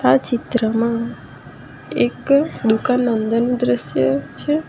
આ ચિત્રમાં એક દુકાન અંદર નું દ્રશ્ય છે.